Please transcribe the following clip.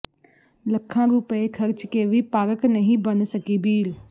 ਲੱਖਾਂ ਰੁਪਏ ਖਰਚ ਕੇ ਵੀ ਪਾਰਕ ਨਹੀਂ ਬਣ ਸਕੀ ਬੀੜ